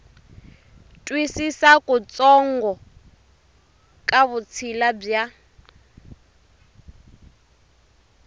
twisisa kutsongo ka vutshila bya